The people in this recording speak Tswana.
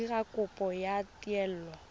go dira kopo ya taelo